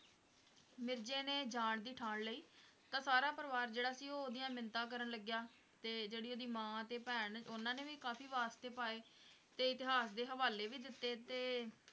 ਮਿਰਜ਼ੇ ਨੇ ਜਾਣ ਦੀ ਠਾਣ ਲਈ ਤਾਂ ਸਾਰਾ ਪਰਿਵਾਰ ਜਿਹੜਾ ਸੀ ਉਹ ਉਹਦੀਆਂ ਮਿੰਨਤਾਂ ਕਰਨ ਲੱੱਗਿਆ ਤੇ ਜਿਹੜੀ ਉਹਦੀ ਮਾਂ ਤੇ ਭੈਣ ਉਹਨਾਂ ਨੇ ਵੀ ਕਾਫ਼ੀ ਵਾਸਤੇ ਪਾਏ ਤੇ ਇਤਿਹਾਸ ਦੇ ਹਵਾਲੇ ਵੀ ਦਿੱਤੇ ਤੇ